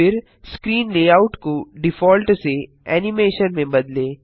फिर screen layout को default से एनिमेशन में बदलें